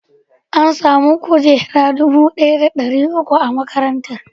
An sami kujeru dubu ɗaya da ɗari uku a makarantar.